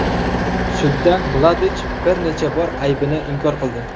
Sudda Mladich bir necha bor aybini inkor qildi.